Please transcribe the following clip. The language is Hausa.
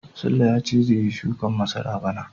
sule ya ce zai yi shukin masara bana.